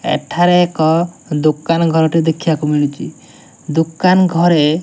ଏଠାରେ ଏକ ଦୋକାନ ଘରଟେ ଦେଖିବାକୁ ମିଳୁଚି ଦୋକାନ ଘରେ --